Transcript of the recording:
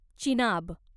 Chenab